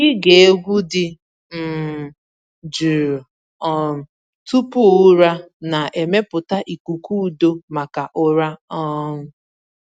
Ịge egwu dị um jụụ um tupu ụra na-emepụta ikuku udo maka ụra. um